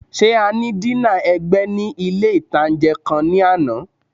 Ṣé a ní dínà ẹ̀gbẹ́ ní ilé-ìtánjẹ kan ní àná?